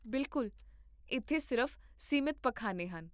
ਬਿਲਕੁਲ, ਇੱਥੇ ਸਿਰਫ਼ ਸੀਮਤ ਪਖਾਨੇ ਹਨ